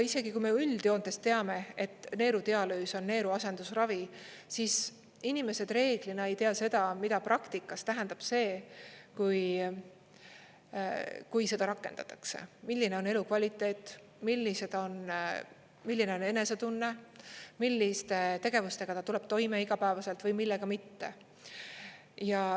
Isegi kui me ju üldjoontes teame, et neerudialüüs on neeruasendusravi, siis inimesed reeglina ei tea seda, mida praktikas tähendab see, kui seda rakendatakse: milline on elukvaliteet, milline on enesetunne, milliste tegevustega ta tuleb toime igapäevaselt või millega mitte.